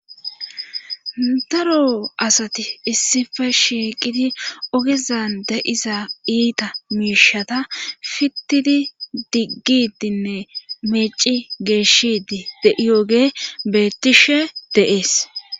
daro asati issife shiiqidi ogezan de'iza iita miishata fittidi diggidinne meeci geeshidi de'iyoge beettishe de'ees